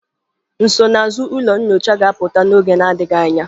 Nsonaazụ ụlọ nyocha ga-apụta n'oge adịghị anya.